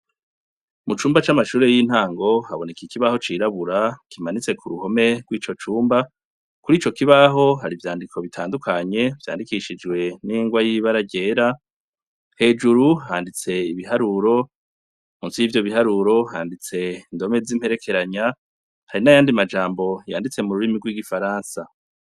Mucumba c'Amashure y'intango haboneka Ikibaho cirabura kimanitse ku ruhome rwico cumba, kurico kibaho hari ivyandiko bitandukanye vyandikishkjwe n'ingwa yibara ryera, hejuru handitse ibiharuro. Munsi yivyo biharuro handitse indome z'iperekeranya hari nayandi majambo yanditse mururimi rw'igifaransa.